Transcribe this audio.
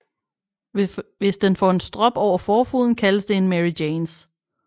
Hvis den får en strop over forfoden kaldes det en Mary Janes